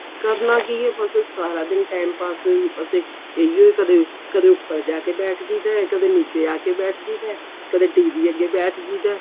ਕਰਨਾ ਕੀ ਹੈ ਬੱਸ ਸਾਰਾ ਦਿਨ ਟੈਮ pass ਬੱਸ ਇਹੀ ਓ ਕਦੇ ਕਦੇ ਉੱਪਰ ਜਾ ਕੇ ਬੈਠ ਜਾਈ ਦਾ ਕਦੇ ਨਿੱਚੇ ਆ ਕੇ ਬੈਠ ਜਾਈਦਾ ਕਦੇ TV ਅੱਗੇ ਬੈਠ ਜਾਈਦਾ